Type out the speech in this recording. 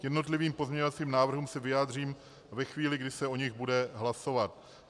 K jednotlivým pozměňovacím návrhům se vyjádřím ve chvíli, kdy se o nich bude hlasovat.